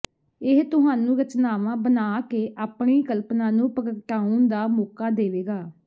ਇਹ ਤੁਹਾਨੂੰ ਰਚਨਾਵਾਂ ਬਣਾ ਕੇ ਆਪਣੀ ਕਲਪਨਾ ਨੂੰ ਪ੍ਰਗਟਾਉਣ ਦਾ ਮੌਕਾ ਦੇਵੇਗਾ